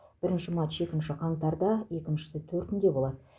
бірінші матч екінші қаңтарда екіншісі төртінде болады